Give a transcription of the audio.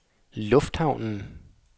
lufthavnen